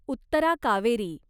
Uttara Kaveri